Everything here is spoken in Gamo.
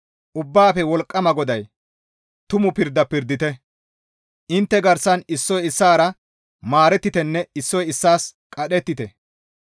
«Ubbaafe Wolqqama GODAY, ‹Tumu pirda pirdite; intte garsan issoy issaara maarettitenne issoy issaas qadhettite.